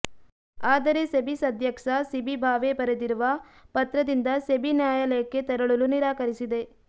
ಆದರೆ ಸೆಬಿ ಸದ್ಯಕ್ಷ ಸಿಬಿ ಭಾವೆ ಬರೆದಿರುವ ಪತ್ರದಿಂದ ಸೆಬಿ ನ್ಯಾಯಾಲಯಕ್ಕೆ ತೆರಳಲು ನಿರಾಕರಿಸಿದೆ